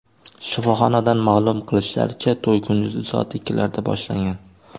Shifoxonadan ma’lum qilishlaricha, to‘y kunduzi soat ikkilarda boshlangan.